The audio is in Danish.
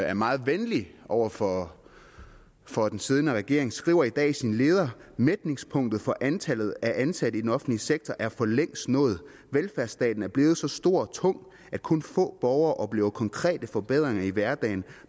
er meget venlig over for for den siddende regering skriver i dag i sin leder mætningspunktet for antallet af ansatte i den offentlige sektor er for længst nået velfærdsstaten er blevet så stor og tung at kun få borgere oplever konkrete forbedringer i hverdagen